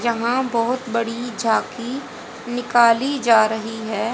यहां बहुत बड़ी झांकी निकाली जा रही है।